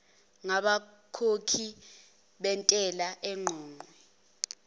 ngabakhokhi bentela eqoqwe